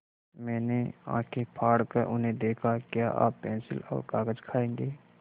मैंने आँखें फाड़ कर उन्हें देखा क्या आप पेन्सिल और कागज़ खाएँगे